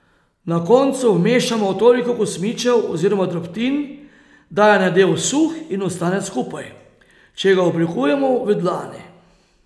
Na koncu vmešamo toliko kosmičev oziroma drobtin, da je nadev suh in ostane skupaj, če ga oblikujemo v dlani.